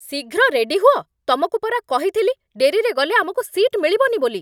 ଶୀଘ୍ର ରେଡି ହୁଅ! ତମକୁ ପରା କହିଥିଲି ଡେରିରେ ଗଲେ ଆମକୁ ସିଟ୍ ମିଳିବନି ବୋଲି!